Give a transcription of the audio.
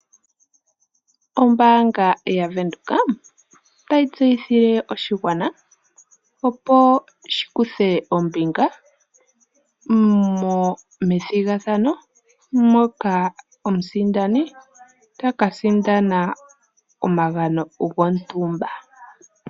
Ombaanga yaVenduka otayi tseyithile oshigwana opo shikuthe ombinga methigathano, moka omusindani taka sindana omagano gontumba.